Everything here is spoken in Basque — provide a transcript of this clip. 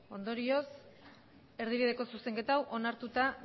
hogei ondorioz erdibideko zuzenketa onartuta